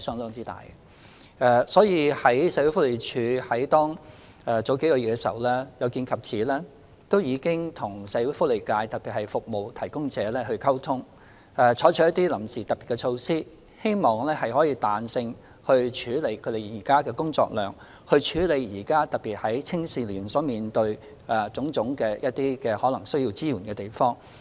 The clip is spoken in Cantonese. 有見及此，社署在數月前已和社會福利界特別是服務提供者溝通，以期採取臨時的特別措施，彈性處理現時的工作量，尤其是在提供青少年現時需要的種種支援方面。